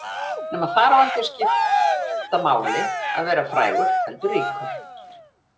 Nema þar á ekki að skipta máli að vera frægur heldur ríkur.